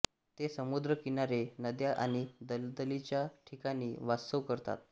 ते समुद्र किनारे नद्या आणि दलदलीच्या ठिकाणी वास्तव्य करतात